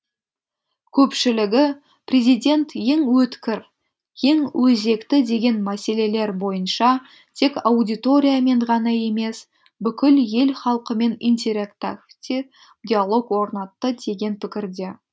көпшілігі президент ең өткір ең өзекті деген мәселелер бойынша тек аудиториямен ғана емес бүкіл ел халқымен интерактивті диалог орнатты деген пікірде